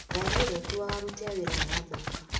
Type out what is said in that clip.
Ngari ĩrĩa ĩkuaga aruti a wĩra nĩ yathũka.